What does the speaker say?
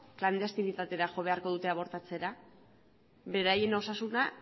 klandestinitatera jo beharko dute abortatzera beraien osasuna